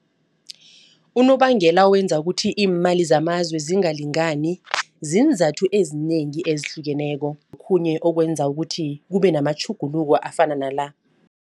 Unobangela owenza ukuthi imali zamazwe zingalingani ziinzathu ezinengi ezihlukeneko. Okhunye okwenza ukuthi kube namatjhuguluko afana nala.